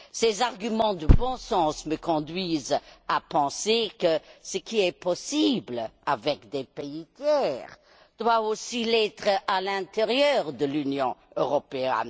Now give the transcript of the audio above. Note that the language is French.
Ses arguments de bon sens me conduisent à penser que ce qui est possible avec des pays tiers doit aussi l'être à l'intérieur de l'Union européenne.